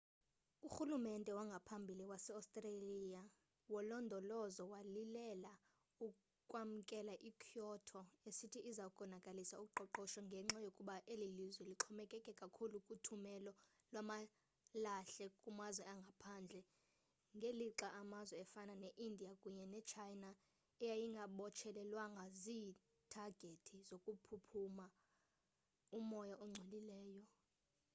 urhulumente wangaphambili wase-australia wolondolozo walile ukwamkela i-kyoto esithi iza konakalisa uqoqosho ngenxa yokuba eli lizwe lixhomekeke kakhulu kuthumelo lwamalahle kumazwe angaphandle ngelixa amazwe afana ne-india kunye ne-china ayengabotshelelwanga ziithagethi zokukhupha umoya ongcolileyo